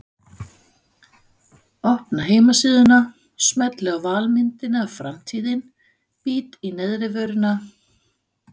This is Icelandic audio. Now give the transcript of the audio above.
Opna heimasíðuna, smelli á valmyndina Framtíðin, bít í neðrivörina.